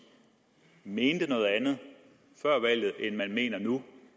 mente noget andet før valget end de mener nu